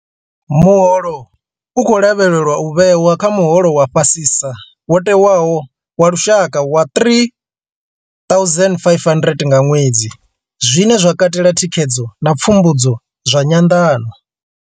Muholo u khou lavhelelwa u vhewa kha muholo wa fhasisa wo tewaho wa lushaka wa R3 500 nga ṅwedzi, zwine zwa katela thikhedzo na pfumbudzo zwa nyanḓano.